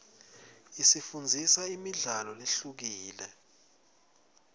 isifundzisa imidlalo lehlukile